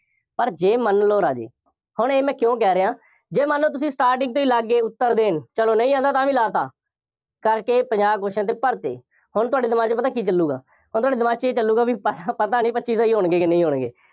ਪਰ ਜੇ ਮੰਨ ਲਓ ਰਾਜੇ, ਹੁਣ ਇਹ ਮੈਂ ਕਿਉਂ ਕਹਿ ਰਿਹਾਂ, ਜੇ ਮੰਨ ਲਓ ਤੁਸੀਂ starting ਤੋਂ ਹੀ ਲੱਗ ਗਏ ਉੱਤਰ ਦੇਣ, ਚੱਲੋ ਨਹੀਂ ਆਉਂਦਾ ਤਾਂ ਵੀ ਲਾ ਤਾ, ਕਰਕੇ ਪੰਜਾਹ question ਅਤੇ ਭਰ ਤੇ, ਹੁਣ ਤੁਹਾਡੇ ਦਿਮਾਗ ਵਿੱਚ ਪਤਾ ਕੀ ਚੱਲੂਗਾ, ਹੁਣ ਤੁਹਾਡੇ ਦਿਮਾਗ ਵਿੱਚ ਇਹ ਚੱਲੂਗਾ, ਪਤਾ ਨਹੀਂ ਪੱਚੀ ਸਹੀ ਹੋਣਗੇ ਕਿ ਨਹੀਂ ਹੋਣਗੇ।